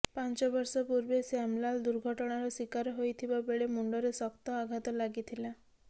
ପାଞ୍ଚ ବର୍ଷ ପୂର୍ବେ ଶ୍ୟାମଲାଲ ଦୁର୍ଘଟଣାର ଶିକାର ହୋଇଥିବା ବେଳେ ମୁଣ୍ଡରେ ଶକ୍ତ ଆଘାତ ଲାଗିଥିଲା